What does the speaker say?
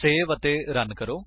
save ਅਤੇ run ਕਰੋ